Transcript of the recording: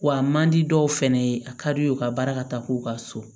Wa a man di dɔw fɛnɛ ye a ka di u ye u ka baara ka taa k'u ka so